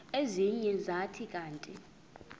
ezinye zathi kanti